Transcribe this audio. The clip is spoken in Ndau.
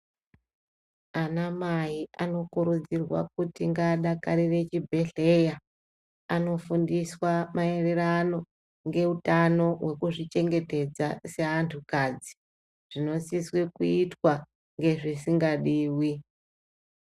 Ana mai vanokurudzirwa kuti ngadakarire chibhehleya anofundiswa mairirano ngeutano wekuzvi chengetedza seventu kadzi zvinosisa kuita ngezvisingadiwi.